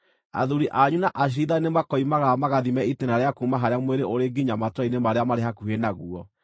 athuuri anyu na aciirithania nĩmakoimagara magathime itĩĩna rĩa kuuma harĩa mwĩrĩ ũrĩ nginya matũũra-inĩ marĩa marĩ hakuhĩ naguo.